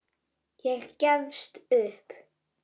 Ég gefst upp.